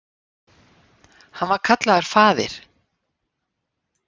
Hann var kallaður faðir